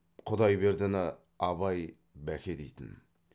құдайбердіні абай бәке дейтін